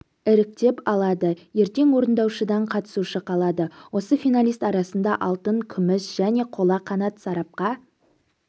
іріктеп алады ертең орындаушыдан қатысушы қалады осы финалист арасында алтын күміс және қола қанат сарапқа